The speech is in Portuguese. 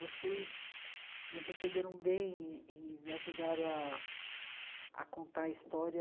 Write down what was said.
Vocês me receberam bem e e me ajudaram a a contar a história